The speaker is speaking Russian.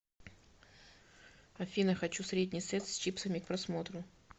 афина хочу средний сет с чипсами к просмотру